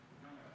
Aitäh!